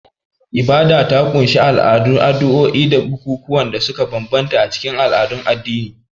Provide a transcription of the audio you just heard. Ibada ta ƙunshi al'adu, addu'o'i da bukukuwan da suka bambanta a cikin al'adun addini.